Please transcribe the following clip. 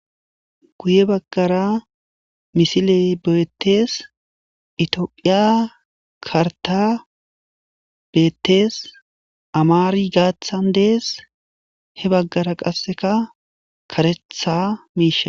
Guye bagara misiley, betes Ethiopia, karata betes amari gathan des he bagara qaseka karetha mishay